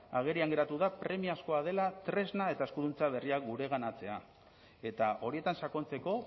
agerian geratu da premiazkoa dela tresna eta eskuduntza berriak gureganatzea eta horietan sakontzeko